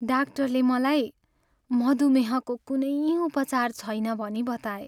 डाक्टरले मलाई मधुमेहको कुनै उपचार छैन भनी बताए।